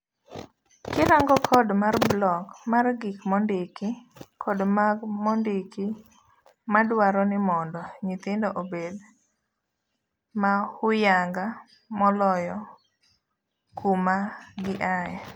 Kirango code mar block mar gik mondiki kod mag mondiki madwaro nimondo nyithindo obed mohuyanga moloyo kuma giaye.